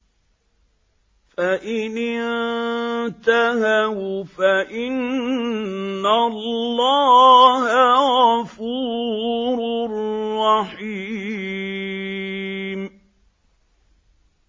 فَإِنِ انتَهَوْا فَإِنَّ اللَّهَ غَفُورٌ رَّحِيمٌ